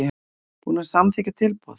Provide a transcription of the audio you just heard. Búinn að samþykkja tilboð?